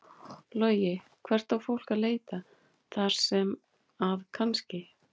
Logi: Og hvert á fólk að leita þar sem að kannski?